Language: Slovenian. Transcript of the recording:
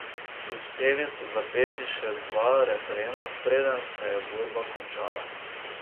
Uspeli so zapeti še dva refrena, preden se je borba končala.